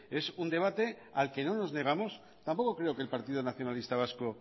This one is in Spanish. es un debate al que no nos negamos tampoco creo que el partido nacionalista vasco